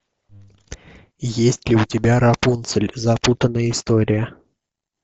есть ли у тебя рапунцель запутанная история